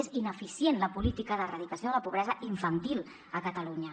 és ineficient la política d’erradicació de la pobresa infantil a catalunya